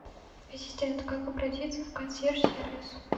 ассистент как обратиться в консьерж сервис